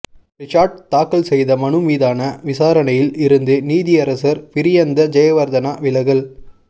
ரிஷாட் தாக்கல் செய்த மனு மீதான விசாரணையில் இருந்து நீதியரசர் பிரியந்த ஜெயவர்தன விலகல்